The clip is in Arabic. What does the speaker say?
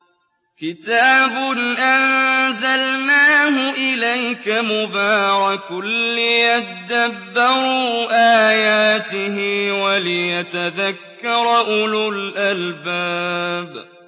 كِتَابٌ أَنزَلْنَاهُ إِلَيْكَ مُبَارَكٌ لِّيَدَّبَّرُوا آيَاتِهِ وَلِيَتَذَكَّرَ أُولُو الْأَلْبَابِ